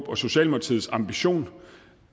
og socialdemokratiets ambition